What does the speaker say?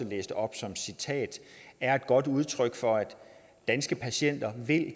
læste op som citat er et godt udtryk for at danske patienter